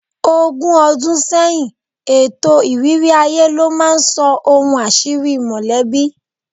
Ogún ọdún sẹ́yìn, ètò ìrírí aye ló máa ń sọ ohun àṣírí mọ̀lẹ́bí